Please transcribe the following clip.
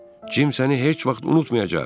Cim səni heç vaxt unutmayacaq.